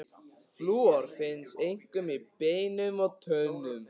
Flúor finnst einkum í beinum og tönnum.